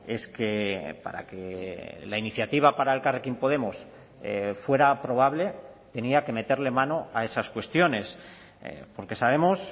es que para que la iniciativa para elkarrekin podemos fuera aprobable tenía que meterle mano a esas cuestiones porque sabemos